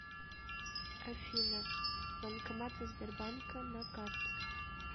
афина банкоматы сбербанка на карте